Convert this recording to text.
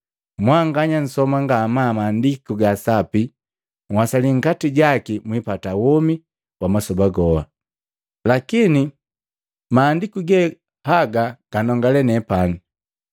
Mwanganya nsoma ngamaa Maandiku ga Sapi uwasali nkati jaki mwipata womi wa masoba goha. Lakini mahandiku ge gaga ganongale nepani!